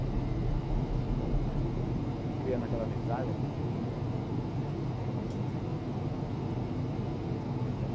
Aí a gente chegava lá e depois ficava criando aquela amizade, aquele vínculo, né, com eles, e...